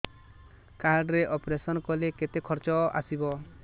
card ରେ operation କଲେ କେତେ ଖର୍ଚ ଆସିବ